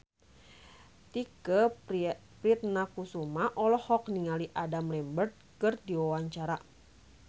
Tike Priatnakusuma olohok ningali Adam Lambert keur diwawancara